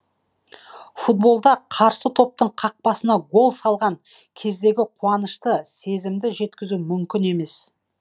футболда қарсы топтың қақпасына гол салған кездегі қуанышты сезімді жеткізу мүмкін емес